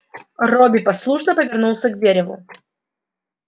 робби послушно повернулся к дереву